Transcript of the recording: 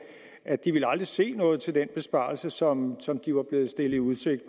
at de aldrig ville se noget til den besparelse som som de var blevet stillet i udsigt